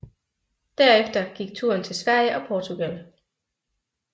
Derefter gik turen til Sverige og Portugal